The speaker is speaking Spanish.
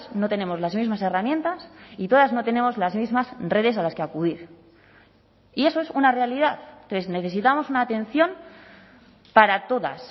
no tenemos las mismas herramientas y todas no tenemos las mismas redes a las que acudir y eso es una realidad entonces necesitamos una atención para todas